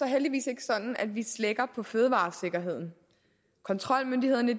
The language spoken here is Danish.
heldigvis ikke sådan at vi slækker på fødevaresikkerheden kontrolmyndighederne